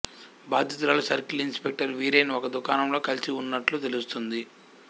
బాధితురాలు circle inspector Veeren ఒక దుకాణంలో కలిసిఉన్నట్లు తెలుస్తుంది